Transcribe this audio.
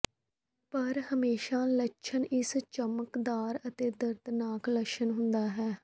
ਪਰ ਹਮੇਸ਼ਾ ਲੱਛਣ ਇਸ ਚਮਕਦਾਰ ਅਤੇ ਦਰਦਨਾਕ ਲੱਛਣ ਹੁੰਦਾ ਹੈ